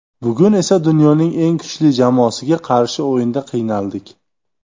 Bugun esa dunyoning eng kuchli jamoasiga qarshi o‘yinda qiynaldik.